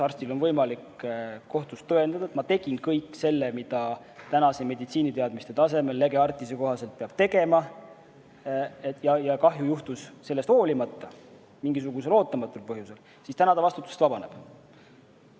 Kui arstil on võimalik kohtus tõendada, et ma tegin kõik selle, mida tänaste meditsiiniteadmiste tasemel lege artis'e kohaselt peab tegema, ja kahju juhtus sellest hoolimata, mingisugusel ootamatul põhjusel, siis täna arst vastutusest vabaneb.